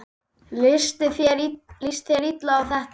Leist þér illa á þetta?